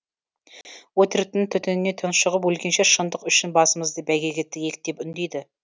өтіріктің түтініне тұншығып өлгенше шындық үшін басымызды бәйгеге тігейік деп үндейді